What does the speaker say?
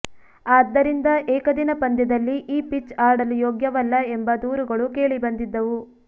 ಆದ್ದರಿಂದ ಏಕದಿನ ಪಂದ್ಯದಲ್ಲಿ ಈ ಪಿಚ್ ಆಡಲು ಯೋಗ್ಯವಲ್ಲ ಎಂಬ ದೂರುಗಳು ಕೇಳಿಬಂಿದ್ದವು